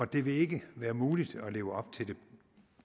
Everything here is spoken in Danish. det vil ikke være muligt at leve op